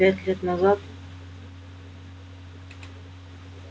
пять лет назад